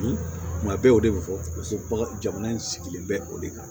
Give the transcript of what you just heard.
Tuma bɛɛ o de bɛ fɔ bagan jamana in sigilen bɛ o de kan